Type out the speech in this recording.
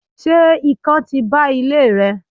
se ikán ti ba ile rẹ?